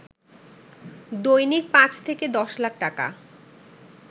দৈনিক ৫ থেকে ১০ লাখ টাকা